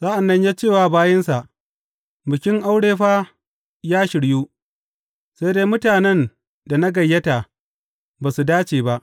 Sa’an nan ya ce wa bayinsa, Bikin aure fa ya shiryu, sai dai mutanen da na gayyata ba su dace ba.